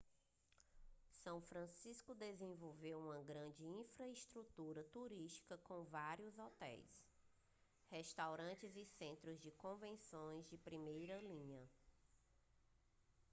são francisco desenvolveu uma grande infraestrutura turística com vários hotéis restaurantes e centros de convenção de primeira linha